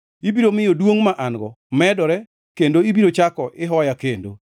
Ibiro miyo duongʼ ma an-go medore kendo ibiro chako ihoya kendo.